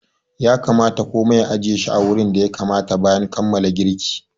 Ya kamata komai a ajiye shi wurin da ya kamata bayan kammala girki.